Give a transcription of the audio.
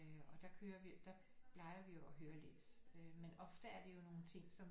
Øh og der kører vi der plejer vi jo at høre lidt øh men ofte er det jo nogle ting som